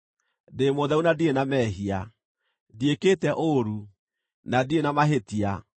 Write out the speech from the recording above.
‘Ndĩ mũtheru na ndirĩ na mehia; ndiĩkĩte ũũru, na ndirĩ na mahĩtia.